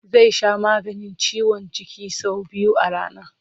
Zai sha maganin ciwon jiki sau biyu a rana.